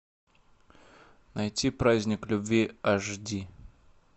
найти праздник любви аш ди